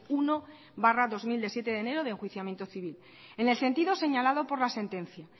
uno barra dos mil de siete de enero de enjuiciamiento civil en el sentido señalado por la sentencia